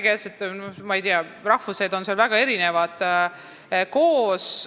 Ma ei teagi, kui palju erinevaid rahvuseid seal täpselt koos on.